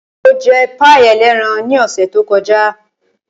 Mo jẹ páì ẹlẹ́ran ní ọ̀sẹ̀ tó kọjá.